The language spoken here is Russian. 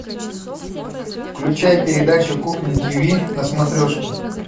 включай передачу кухня тв на смотрешке